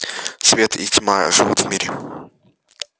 свет и тьма живут в мире